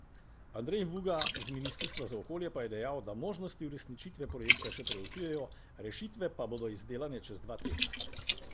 Andrej Vuga z ministrstva za okolje pa je dejal, da možnosti uresničitve projekta še preučujejo, rešitve pa bodo izdelane čez dva tedna.